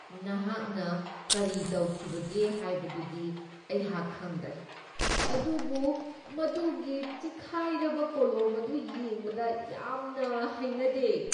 ꯅꯍꯥꯛꯅ ꯀꯔꯤ ꯇꯧꯈꯤꯕꯒꯦ ꯍꯥꯏꯕꯗꯨꯗꯤ ꯑꯩꯍꯥꯛ ꯈꯪꯗ꯭ꯔꯦ ꯑꯗꯨꯕꯨ ꯃꯗꯨꯒꯤ ꯆꯤꯛꯈꯥꯏꯔꯕ ꯀꯣꯂꯣꯝ ꯑꯗꯨ ꯌꯦꯡꯕꯗ ꯌꯥꯝꯅ ꯍꯩꯅꯗꯦ ꯫